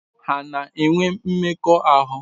Ha na-enwe mmekọahụ?